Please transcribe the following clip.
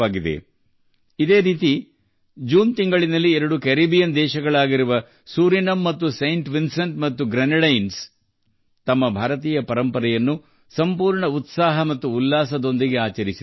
ಅಂತೆಯೇ ಜೂನ್ ತಿಂಗಳಲ್ಲಿ 2 ಕೆರಿಬಿಯನ್ ದೇಶಗಳಾದ ಸುರಿನಾಮ್ ಮತ್ತು ಸೇಂಟ್ ವಿನ್ಸೆಂಟ್ ಅಂಡ್ ಗ್ರೆನಡೈನ್ಸ್ ತಮ್ಮ ಭಾರತೀಯ ಪರಂಪರೆಯನ್ನು ಪೂರ್ಣ ಉತ್ಸಾಹದಿಂದ ಆಚರಿಸಿದರು